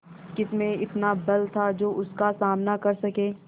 किसमें इतना बल था जो उसका सामना कर सके